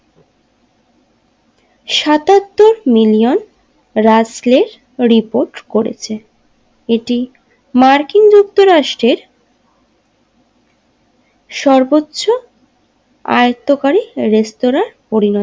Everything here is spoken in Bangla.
সাতাত্তর মিলিয়ন রাজস্ক্রে রিপোর্ট করেছে এটি মর্কিন যুক্তরাষ্ট্রের সর্বোচ্চ আয়ত্তকারী রেস্তোরাঁয় পরিণত হয়েছে।